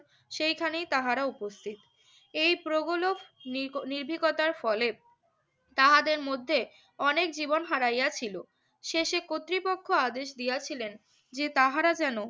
সেইখানেই তাহারা উপস্থিত। এই প্রগলক নির~ নির্ভীকতার ফলে তাহাদের মধ্যে অনেক জীবন হারাইয়াছিল। শেষে কর্তৃপক্ষ আদেশ দিয়াছিলেন যে, তাহারা যেন